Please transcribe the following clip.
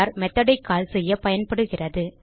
method ஐ call செய்ய பயன்படுகிறது